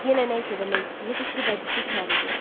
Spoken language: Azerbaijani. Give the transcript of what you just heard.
Yenə nə isə demək istəyirdi ki, bacısı içəri girdi.